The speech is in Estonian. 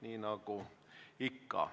Nii on ikka olnud.